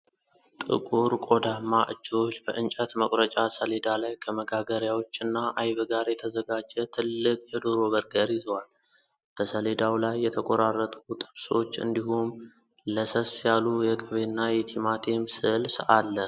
ጥቁር ቆዳማ እጆች በእንጨት መቁረጫ ሰሌዳ ላይ ከመጋገሪያዎችና አይብ ጋር የተዘጋጀ ትልቅ የዶሮ በርገር ይዘዋል። በሰሌዳው ላይ የተቆራረጡ ጥብሶች እንዲሁም ለሰስ ያሉ የቅቤና የቲማቲም ስልስ አለ።